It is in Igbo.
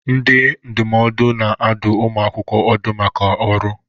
Ndị ndụmọdụ na-adụ ụmụ akwụkwọ ọdụ maka ọrụ.